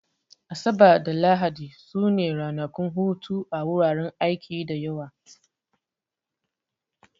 Asabar da Lahadi su ne ranakun hutu a wuraren aiki da yawa